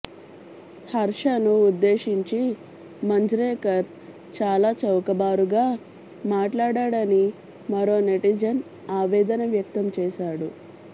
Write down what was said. హర్షను ఉద్దేశించి మంజ్రేకర్ చాలా చౌకబారుగా మాట్లాడాడని మరో నెటిజన్ ఆవేదన వ్యక్తం చేశాడు